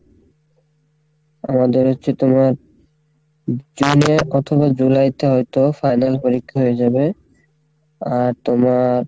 আমাদের হচ্ছে তোমার June এ অথবা July তে হয়তো final পরীক্ষা হয়ে যাবে আর তোমার,